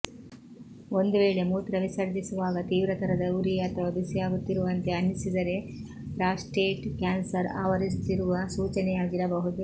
ಒಂದು ವೇಳೆ ಮೂತ್ರವಿಸರ್ಜಿಸುವಾಗ ತೀವ್ರತರದ ಉರಿ ಅಥವಾ ಬಿಸಿಯಾಗುತ್ತಿರುವಂತೆ ಅನ್ನಿಸಿದರೆ ಪ್ರಾಸ್ಟೇಟ್ ಕ್ಯಾನ್ಸರ್ ಆವರಿಸುತ್ತಿರುವ ಸೂಚನೆಯಾಗಿರಬಹುದು